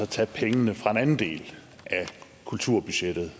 tage pengene fra en anden del af kulturbudgettet